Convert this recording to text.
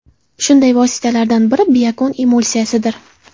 Shunday vositalardan biri Biokon Emulsiyasi dir .